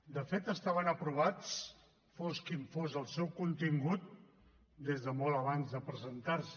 de fet estaven aprovats fos quin fos el seu contingut des de molt abans de presentar se